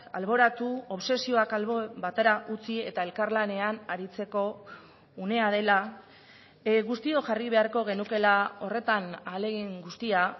alboratu obsesioak albo batera utzi eta elkarlanean aritzeko unea dela guztiok jarri beharko genukeela horretan ahalegin guztia